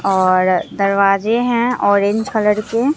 और दरवाजे हैं ऑरेंज कलर के।